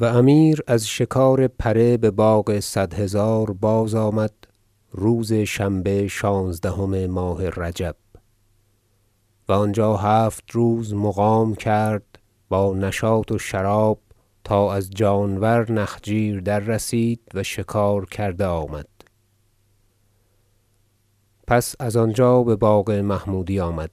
و امیر از شکارپره بباغ صد هزار باز آمد روز شنبه شانزدهم ماه رجب و آنجا هفت روز مقام کرد با نشاط و شراب تا از جانور نخجیر در رسید و شکار کرده آمد پس از آنجا بباغ محمودی آمد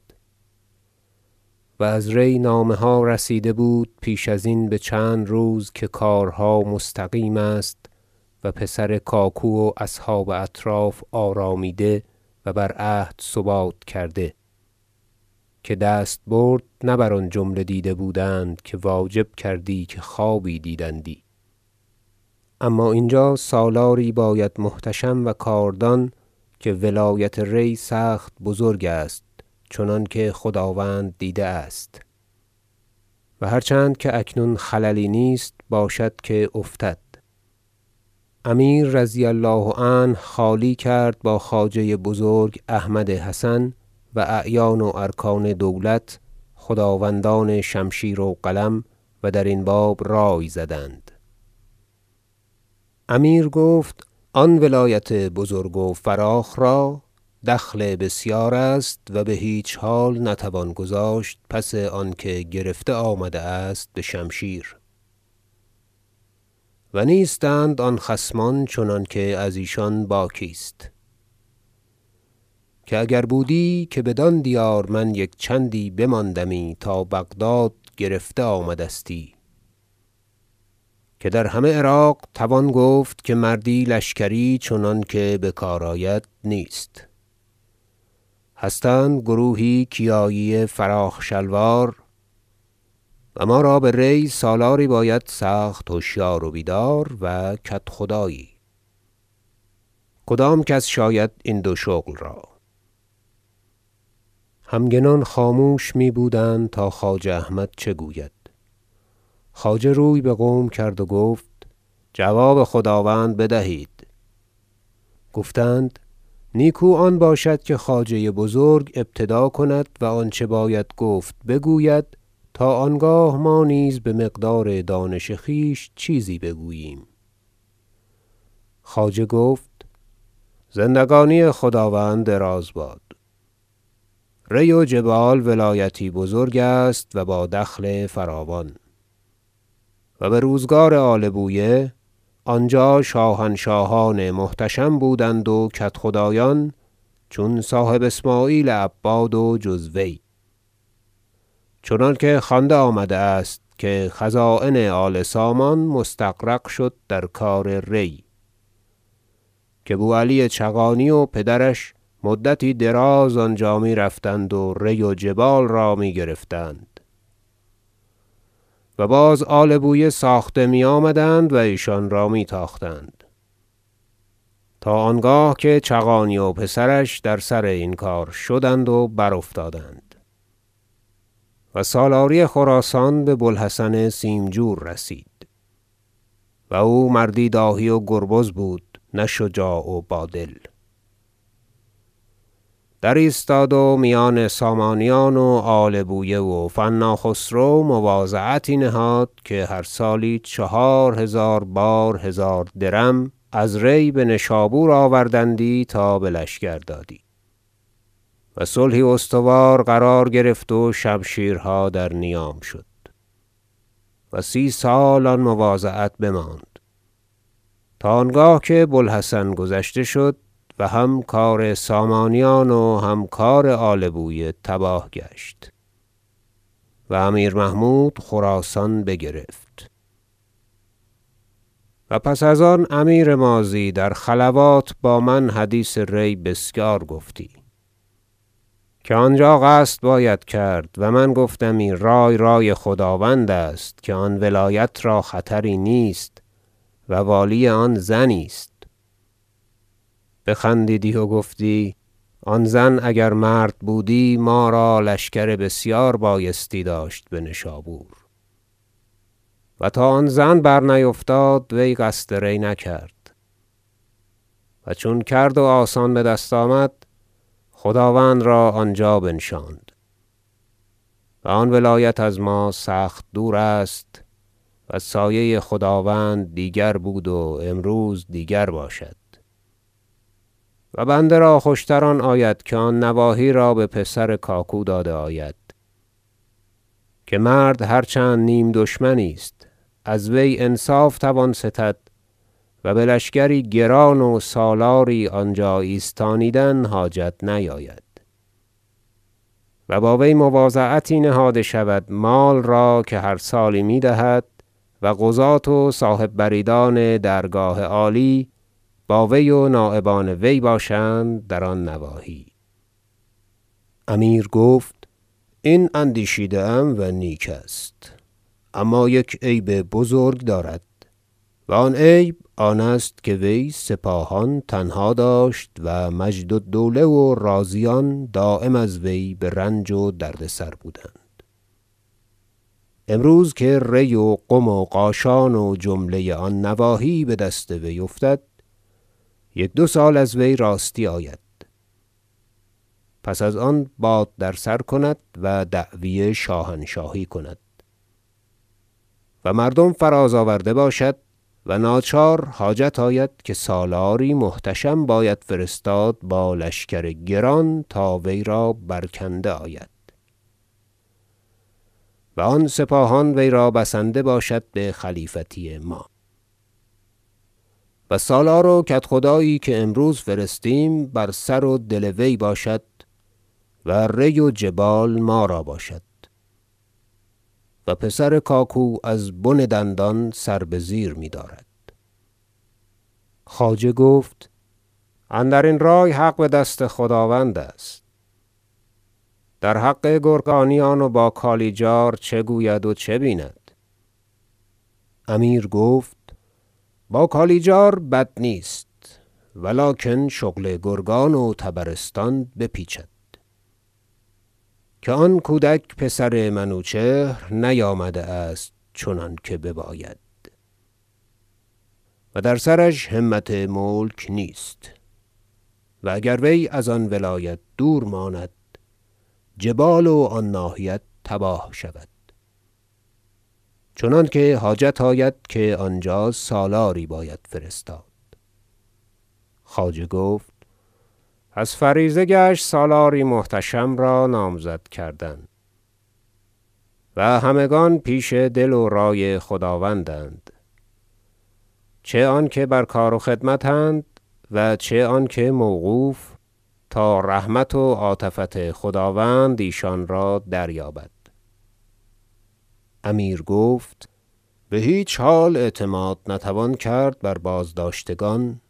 و از ری نامه ها رسیده بود پیش ازین بچند روز که کارها مستقیم است و پسر کاکو و اصحاب اطراف آرامیده و بر عهد ثبات کرده که دستبرد نه بر آن جمله دیده بودند که واجب کردی که خوابی دیدندی اما اینجا سالاری باید محتشم و کاردان که ولایت ری سخت بزرگ است چنانکه خداوند دیده است و هر چند که اکنون خللی نیست باشد که افتد امیر رضی الله عنه خالی کرد با خواجه بزرگ احمد حسن و اعیان و ارکان دولت خداوندان شمشیر و قلم و درین باب رأی زدند امیر گفت آن ولایت بزرگ و فراخ را دخل بسیار است و بهیچ حال نتوان گذاشت پس آنکه گرفته آمده است بشمشیر و نیستند آن خصمان چنانکه ازیشان باکی است که اگر بودی که بدان دیار من یک چندی بماندمی تا بغداد گرفته آمدستی که در همه عراق توان گفت که مردی لشکری چنان که بکار آید نیست هستند گروهی کیایی فراخ شلوار و ما را به ری سالاری باید سخت هشیار و بیدار و کدخدایی کدام کس شاید این دو شغل را همگنان خاموش می بودند تا خواجه احمد چه گوید خواجه روی بقوم کرد و گفت جواب خداوند بدهید گفتند نیکو آن باشد که خواجه بزرگ ابتدا کند و آنچه باید گفت بگوید تا آنگاه ما نیز بمقدار دانش خویش چیزی بگوییم خواجه گفت زندگانی خداوند دراز باد ری و جبال ولایتی بزرگ است و با دخل فراوان و بروزگار آل بویه آنجا شاهنشاهان محتشم بودند و کدخدایان چون صاحب اسمعیل عباد و جز وی چنانکه خوانده آمده است که خزاین آل- سامان مستغرق شد در کار ری که بو علی چغانی و پدرش مدتی دراز آنجا میرفتند و ری و جبال را میگرفتند و باز آل بویه ساخته میآمدند و ایشان را می تاختند تا آنگاه که چغانی و پسرش در سر این کار شدند و برافتادند و سالاری خراسان ببو الحسن سیمجور رسید و او مردی داهی و گربز بود نه شجاع و با دل در ایستاد و میان سامانیان و آل بویه و فنا خسرو مواضعتی نهاد که هر سالی چهار هزار بار هزار درم از ری بنشابور آوردندی تا بلشکر دادی و صلحی استوار قرار گرفت و شمشیرها در نیام شد و سی سال آن مواضعت بماند تا آنگاه که بو الحسن گذشته شد و هم کار سامانیان و هم کار آل بویه تباه گشت و امیر محمود خراسان بگرفت و پس از آن امیر ماضی در خلوات با من حدیث ری بسیار گفتی که آنجا قصد باید کرد و من گفتمی رأی رأی خداوند است که آن ولایت را خطری نیست و والی آن زنی است بخندیدی و گفتی آن زن اگر مرد بودی ما را لشکر بسیار بایستی داشت بنشابور و تا آن زن برنیفتاد وی قصد ری نکرد و چون کرد و آسان بدست آمد خداوند را آنجا بنشاند و آن ولایت از ما سخت دور است و سایه خداوند دیگر بود و امروز دیگر باشد و بنده را خوش تر آن آید که آن نواحی را به پسر کاکو داده آید که مرد هر چند نیم دشمنی است از وی انصاف توان ستد و بلشکری گران و سالاری آنجا ایستانیدن حاجت نیاید و با وی مواضعتی نهاده شود مال را که هر سالی می دهد و قضات و صاحب بریدان درگاه عالی با وی و نایبان وی باشند در آن نواحی بقیه سخن وزیر و نظر امیر امیر گفت این اندیشیده ام و نیک است اما یک عیب بزرگ دارد و آن عیب آن است که وی سپاهان تنها داشت و مجد الدوله و رازیان دایم از وی برنج و دردسر بودند امروز که ری و قم و قاشان و جمله آن نواحی بدست وی افتد یک دو سال از وی راستی آید پس از آن باد در سر کند و دعوی شاهنشاهی کند و مردم فراز آورده باشد و ناچار حاجت آید که سالاری محتشم باید فرستاد با لشکر گران تا وی را برکنده آید و آن سپاهان وی را بسنده باشد بخلیفتی ما و سالار و کدخدایی که امروز فرستیم بر سر و دل وی باشد و ری و جبال ما را باشد و پسر کاکو از بن دندان سر بزیر میدارد خواجه گفت اندرین رأی حق بدست خداوند است در حق گرگانیان و با کالیجار چه گوید و چه بیند امیر گفت با کالیجار بد نیست ولکن شغل گرگان و طبرستان به پیچد که آن کودک پسر منوچهر نیامده است چنانکه بباید و در سرش همت ملک نیست و اگر وی از آن ولایت دور ماند جبال و آن ناحیت تباه شود چنانکه حاجت آید که آنجا سالاری باید فرستاد خواجه گفت پس فریضه گشت سالاری محتشم را نامزد کردن و همگان پیش دل و رأی خداوندند چه آن که بر کار و خدمت اند و چه آن که موقوف تا رحمت و عاطفت خداوند ایشان را دریابد امیر گفت بهیچ حال اعتماد نتوان کرد بر بازداشتگان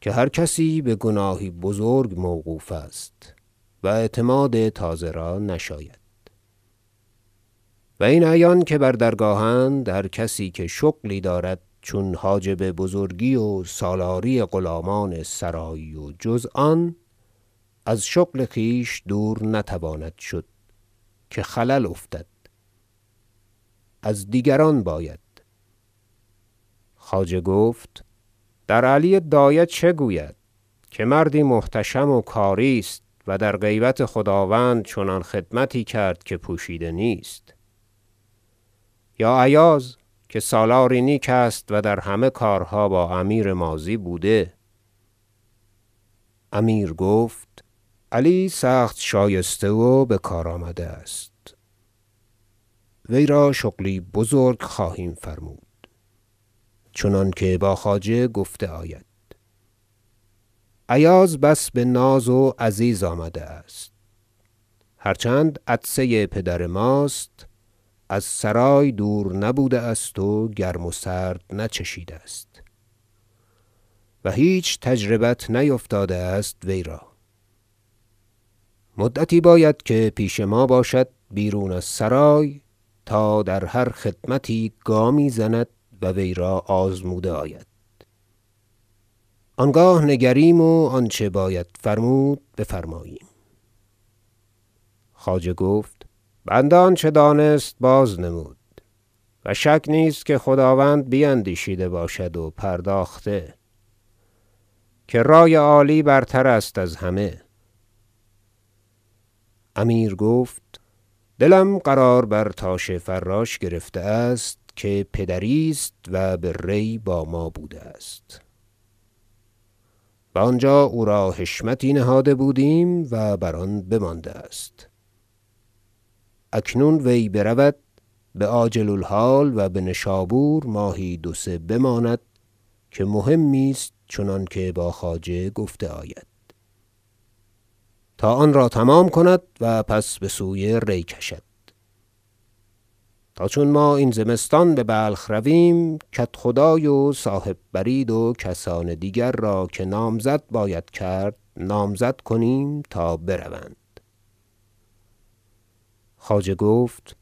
که هر کسی بگناهی بزرگ موقوف است و اعتماد تازه را نشاید و این اعیان که بر درگاه اند هر کسی که شغلی دارد چون حاجب بزرگی و سالاری غلامان سرایی و جز آن از شغل خویش دور نتواند شد که خلل افتد از دیگران باید خواجه گفت در علی دایه چه گوید که مردی محتشم و کاری است و در غیبت خداوند چنان خدمتی کرد که پوشیده نیست یا ایاز که سالاری نیک است و در همه کارها با امیر ماضی بوده امیر گفت علی سخت شایسته و بکار آمده است وی را شغلی بزرگ خواهیم فرمود چنانکه با خواجه گفته آید ایاز بس بناز و عزیز آمده است هر چند عطسه پدر ماست از سرای دور نبوده است و گرم و سرد نچشیده است و هیچ تجربت نیفتاده است وی را مدتی باید که پیش ما باشد بیرون از سرای تا در هر خدمتی گامی زند و وی را آزموده آید آنگاه نگریم و آنچه باید فرمود بفرماییم خواجه گفت بنده آنچه دانست بازنمود و شک نیست که خداوند بیندیشیده باشد و پرداخته که رأی عالی برتر است از همه امیر گفت دلم قرار برتاش فراش گرفته است که پدری است و به ری با ما بوده است و آنجا او را حشمتی نهاده بودیم و بر آن بمانده است اکنون وی برود بعاجل الحال و بنشابور ماهی دو سه بماند که مهمی است چنانکه با خواجه گفته آید تا آن را تمام کند و پس بسوی ری کشد تا چون ما این زمستان ببلخ رویم کدخدای و صاحب برید و کسان دیگر را که نامزد باید کرد نامزد کنیم تا بروند خواجه گفت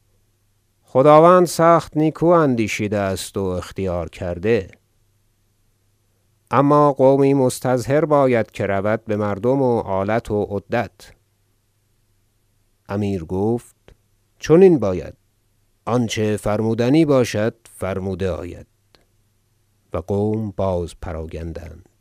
خداوند سخت نیکو اندیشیده است و اختیار کرده اما قومی مستظهر باید که رود بمردم و آلت و عدت امیر گفت چنین باید آنچه فرمودنی باشد فرموده آید و قوم باز پراگندند